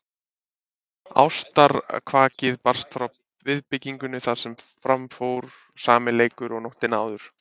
Ástarkvakið barst frá viðbyggingunni þar sem fram fór sami leikur og nóttina áður.